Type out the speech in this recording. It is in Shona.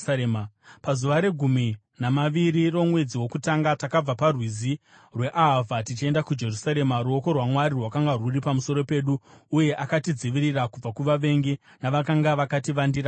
Pazuva regumi namaviri romwedzi wokutanga takabva parwizi rweAhavha tichienda kuJerusarema. Ruoko rwaMwari rwakanga rwuri pamusoro pedu, uye akatidzivirira kubva kuvavengi navakanga vakativandira panzira.